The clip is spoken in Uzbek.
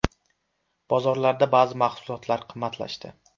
Bozorlarda ba’zi mahsulotlar qimmatlashdi.